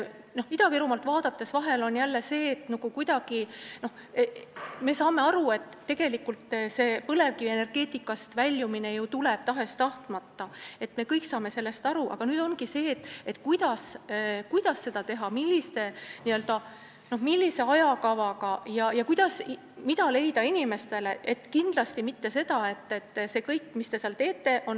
Ida-Virumaad vaadates on selge, et me kuidagi saame aru, et põlevkivienergeetikast väljumine ju tuleb tahes-tahtmata, me kõik saame sellest aru, aga nüüd ongi küsimus, kuidas seda teha, millise ajakavaga ja mida leida inimestele asemele.